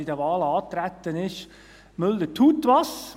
Er hat mir immer gefallen: «Müller tut was».